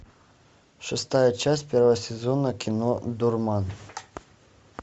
шестая часть первого сезона кино дурман